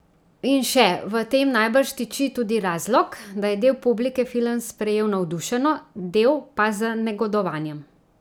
In še: "V tem najbrž tiči tudi razlog, da je del publike film sprejel navdušeno, del pa z negodovanjem.